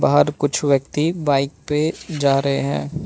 बाहर कुछ व्यक्ति बाइक पे जा रहे हैं।